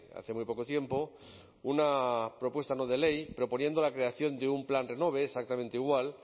hace muy poco tiempo una propuesta no de ley proponiendo la creación de un plan renove exactamente igual